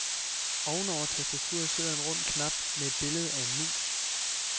Ovenover tastaturet sidder en rund knap med et billede af en mus.